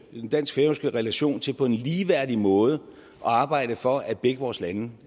i den dansk færøske relation til på en ligeværdig måde at arbejde for at begge vores lande